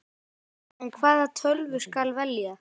En hvaða tölvu skal velja?